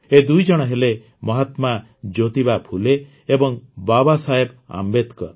ଏ ଦୁଇଜଣ ହେଲେ ମହାତ୍ମା ଜ୍ୟୋତିବା ଫୁଲେ ଏବଂ ବାବାସାହେବ ଆମ୍ବେଦକର